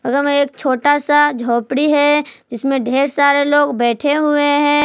बगल में एक छोटा सा झोपड़ी है जिसमें ढेर सारे लोग बैठे हुए हैं।